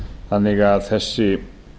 þannig að þessi